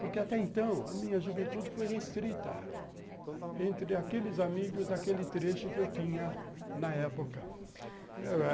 Porque, até então, a minha juventude foi restrita entre aqueles amigos daquele trecho que eu tinha na época.